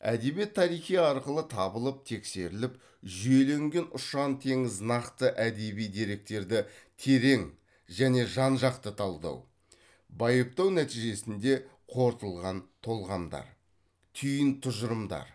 әдебиет тарихи арқылы табылып тексеріліп жүйеленген ұшан теңіз нақты әдеби деректерді терең және жан жақты талдау байыптау нәтижесінде қорытылған толғамдар түйін тұжырымдар